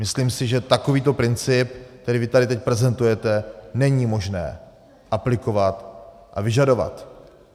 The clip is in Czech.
Myslím si, že takovýto princip, který vy tady teď prezentujete, není možné aplikovat a vyžadovat.